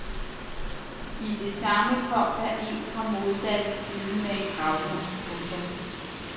I det samme kom der fra den modsatte side en gravhund. punktum